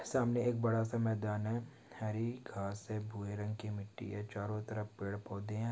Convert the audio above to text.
सामने एक बड़ा सा मैदान है हरी घास है भुरे रंग की मिट्टी है चारों तरफ पेड़ पौधे हैं।